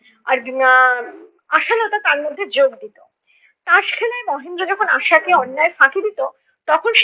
আর এর আহ আশালতা তার মধ্যে যোগ দিতো। তাস খেলায় মহেন্দ্র যখন আশাকে অন্যায় ফাঁকি দিতো তখন